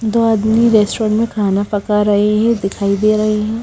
दो आदमी रेस्टोरेंट में खाना पका रही हैं दिखाई दे रही हैं।